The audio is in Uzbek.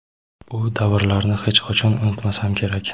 u davrlarni hech qachon unutmasam kerak .